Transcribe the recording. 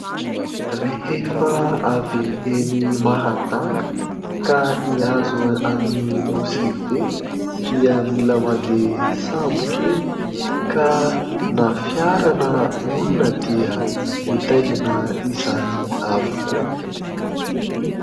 Rehefa avy eny Mahajanga ka hiazo an'i Nosy Be dia mila mandeha sambo kely ka na fiara na olona dia mitaingina izany avokoa.